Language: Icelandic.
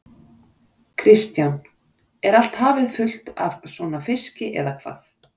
Kristján: Er allt hafið fullt af svona fiski eða hvað?